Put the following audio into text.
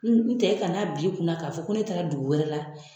N n tɛ kan'a bil'i kunna k'a fɔ ko ne taara dugu wɛrɛ la